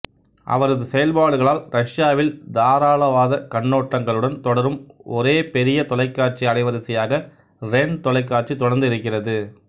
அவரது செயல்பாடுகளால் ரஷ்யாவில் தாராளவாத கண்ணோட்டங்களுடன் தொடரும் ஒரே பெரிய தொலைக்காட்சி அலைவரிசையாக ரென் தொலைக்காட்சி தொடர்ந்து இருக்கிறது